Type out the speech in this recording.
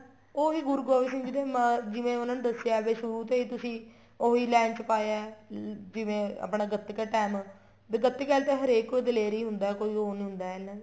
ਉਹ ਵੀ ਗੁਰੂ ਗੋਬਿੰਦ ਸਿੰਘ ਜੀ ਨੇ ਜਿਵੇਂ ਉਹਨਾ ਨੇ ਦੱਸਿਆ ਏ ਵੀ ਸ਼ੁਰੂ ਤੇ ਹੀ ਤੁਸੀਂ ਉਹੀ line ਚ ਹੀ ਪਾਇਆ ਹੈ ਜਿਵੇਂ ਆਪਣਾ ਗੱਤਕਾ ਟੇਮ ਵੀ ਗੱਤਕੇ ਆਲੇ ਤਾਂ ਹਰੇਕ ਕੋਈ ਦਲੇਰ ਹੀ ਹੁੰਦਾ ਕੋਈ ਉਹ ਨਹੀਂ ਹੁੰਦਾ ਐਨਾ